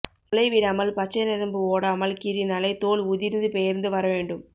முளை விடாமல் பச்சை நரம்பு ஓடாமல் கீறி னாலே தோல் உதிர்ந்து பெயர்ந்து வர வேண்டும்